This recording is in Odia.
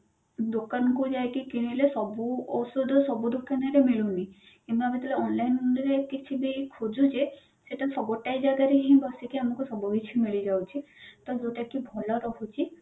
ଦୋକାନ କୁ ଯାଇ କିଣିଲେ ସବୁ ଔଷଧ ସବୁ ଦୋକାନ ରେ ମିଳୁନି କିନ୍ତୁ ଆମେ ଯେତେବେଳେ online through ରେ କିଛି ବି ଖୋଜୁଛେ ସେଟା ଗୋଟାଏ ଜାଗାରେ ହିଁ ବସିକି ଆମକୁ ସବୁ କିଛି ମିଳିଯାଉଛି ତ ଯୋଉଟା କି ଭଲ ରହୁଛି